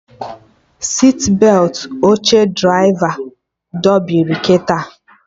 Sitbetị oche draịva dobiri kịta